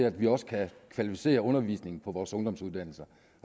at vi også kan kvalificere undervisningen på vores ungdomsuddannelser